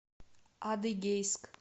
адыгейск